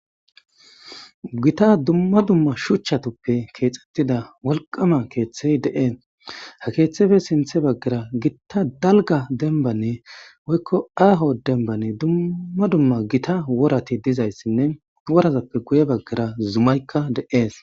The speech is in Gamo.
Gitta duma duma shuchatupe kexetida woliqama kethay dees he kethepe sinithe bagara gitta daliga denibanee woyiko haho deniban duma duma gitta worati dizaysinee worazape guyera zumayika de'es